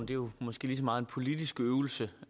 jo måske lige så meget en politisk øvelse